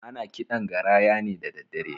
Ana kiɗan garaya ne dadaddare